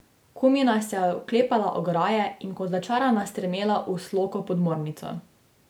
Kumina se je oklepala ograje in kot začarana strmela v sloko podmornico.